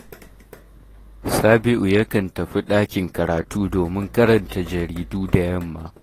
Sabi’u yakan tafi ɗakin karatu domin karanta jaridu da yamma